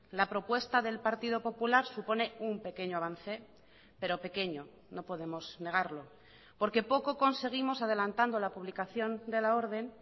la propuesta del partido popular supone un pequeño avance pero pequeño no podemos negarlo porque poco conseguimos adelantando la publicación de la orden